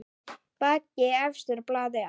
Bakki efstur blaði á.